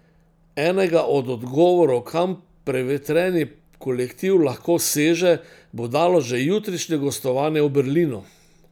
Enega od odgovorov, kam prevetreni kolektiv lahko seže, bo dalo že jutrišnje gostovanje v Berlinu.